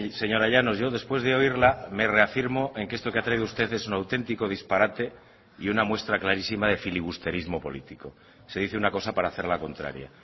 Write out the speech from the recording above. señora llanos yo después de oírla me reafirmo en que esto que ha traído usted es un auténtico disparate y una muestra clarísima de filibusterismo político se dice una cosa para hacer la contraria